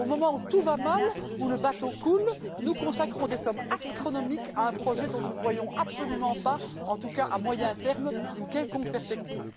Au moment où tout va mal, où le bateau coule, nous consacrons des sommes astronomiques à un projet dont nous ne voyons absolument pas en tout cas à moyen terme une quelconque perspective.